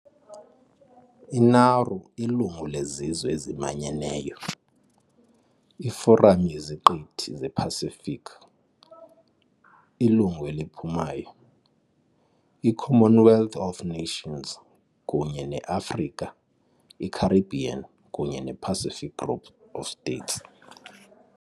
I-Nauru ilungu leZizwe eziManyeneyo, iForam yeZiqithi zePacific, ilungu eliphumayo, i- Commonwealth of Nations, kunye ne-Afrika, i-Caribbean kunye ne-Pacific Group of States.